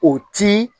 O ti